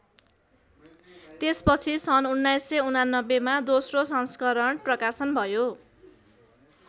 त्यसपछि सन् १९८९ मा दोस्रो संस्करण प्रकाशन भयो।